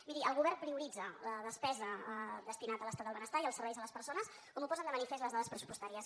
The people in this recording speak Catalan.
miri el govern prioritza la despesa destinada a l’estat del benestar i als serveis a les persones com ho posen de manifest les dades pressupostàries